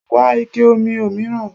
Wá ike omi òmíràn.